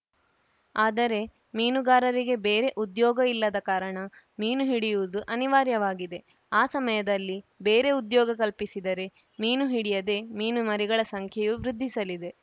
ಆದರೆ ಮೀನುಗಾರರಿಗೆ ಬೇರೆ ಉದ್ಯೋಗ ಇಲ್ಲದ ಕಾರಣ ಮೀನು ಹಿಡಿಯುವುದು ಅನಿವಾರ್ಯವಾಗಿದೆ ಆ ಸಮಯದಲ್ಲಿ ಬೇರೆ ಉದ್ಯೋಗ ಕಲ್ಪಿಸಿದರೆ ಮೀನು ಹಿಡಿಯದೆ ಮೀನು ಮರಿಗಳ ಸಂಖ್ಯೆಯೂ ವೃದ್ಧಿಸಲಿದೆ